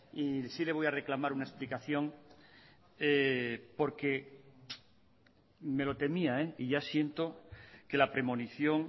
y si le voy a reclamar una explicación porque me lo temía y ya siento que la premonición